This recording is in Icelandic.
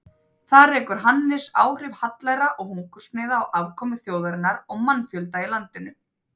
Þar rekur Hannes áhrif hallæra og hungursneyða á afkomu þjóðarinnar og mannfjölda í landinu.